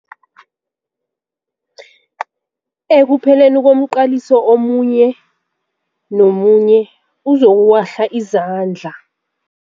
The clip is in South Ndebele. Ekupheleni komqaliso omunye nomunye uzokuwahla izandla.